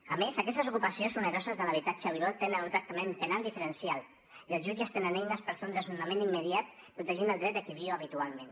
a més aquestes ocupacions oneroses de l’habitatge habitual tenen un tractament penal diferencial i els jutges tenen eines per fer un desnonament immediat protegint el dret de qui hi viu habitualment